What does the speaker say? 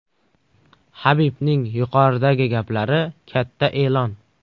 Habibning yuqoridagi gaplari katta e’lon.